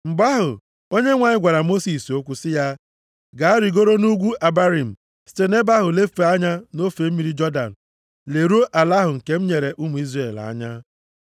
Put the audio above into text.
Mgbe ahụ, Onyenwe anyị gwara Mosis okwu sị ya: “Gaa rigoro nʼugwu Abarim site nʼebe ahụ lefee anya nʼofe mmiri Jọdan leruo ala ahụ nke m nyere ụmụ Izrel anya.